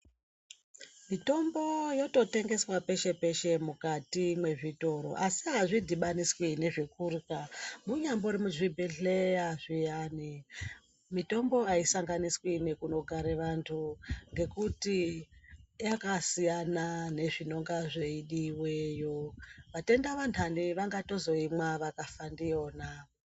Mitombo yototengeswa peshe peshe mukati mezvitoro asi hazvidhibaniswi nezvekurya. Munyambori muzvibhedhleya zviyani, mitombo haisanganiswi nekunogare vantu, ngekuti yakasiyana nezvinonga zveidiweyo. Vatenda vanthani vangatozoimwa vakafa ndiyona.